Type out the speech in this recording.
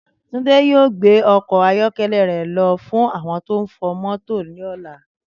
Túndé yóò gbé okò ayókélé rè ló fún àwon tó n fo mótò lóla